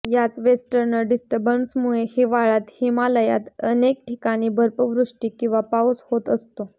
याच वेस्टर्न डिस्टर्बन्समुळे हिवाळ्यात हिमालयात अनेक ठिकाणी बर्फवृष्टी किंवा पाऊस होत असतो